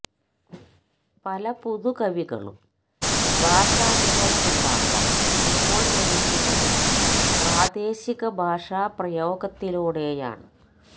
പല പുതു കവികളും ഭാഷാനുഭവമുണ്ടാക്കാൻ ഇപ്പോൾ ശ്രമിക്കുന്നത് പ്രാദേശിക ഭാഷാപ്രയോഗത്തിലൂടെയാണ്